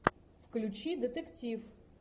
включи детектив